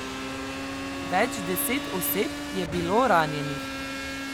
Več deset oseb je bilo ranjenih.